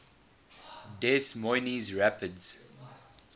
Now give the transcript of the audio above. des moines rapids